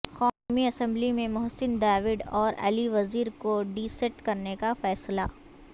قومی اسمبلی میں محسن داوڑ اور علی وزیر کو ڈی سیٹ کرنے کا فیصلہ